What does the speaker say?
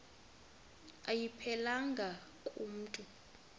ayiphelelanga ku mntu